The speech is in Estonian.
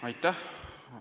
Aitäh!